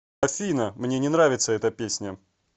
афина мне не нравится эта песня